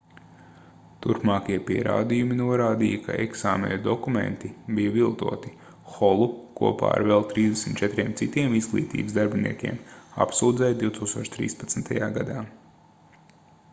turpmākie pierādījumi norādīja ka eksāmenu dokumenti bija viltoti holu kopā ar vēl 34 citiem izglītības darbiniekiem apsūdzēja 2013. gadā